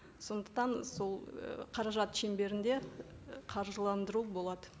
сондықтан сол ы қаражат шеңберінде қаржыландыру болады